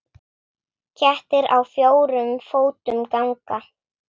Kettir á fjórum fótum ganga.